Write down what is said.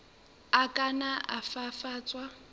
a ka nna a fafatswa